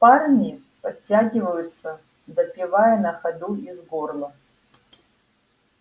парни подтягиваются допивая на ходу из горла